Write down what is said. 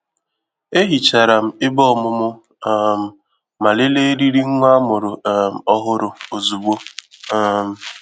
E hicharam ebe ọmụmụ um ma lelee eriri nwa amụrụ um ọhụrụ ozugbo. um